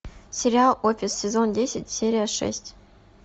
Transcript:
сериал офис сезон десять серия шесть